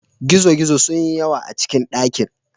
Gizo-gizo sun yi yawa a cikin dakin.